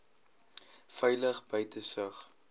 veilig buite sig